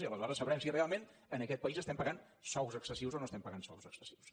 i aleshores sabrem si realment en aquest país estem pagant sous excessius o no estem pagant sous excessius